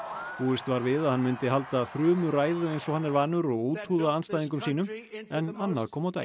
búist var við að hann myndi halda þrumuræðu eins og hann er vanur og úthúða andstæðingum sínum en annað kom á daginn